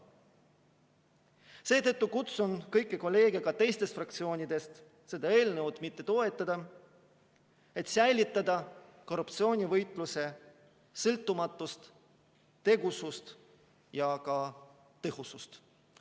Seetõttu kutsun kõiki kolleege ka teistest fraktsioonidest seda eelnõu mitte toetama, et säilitada korruptsioonivõitluse sõltumatust, tegusust ja ka tõhusust.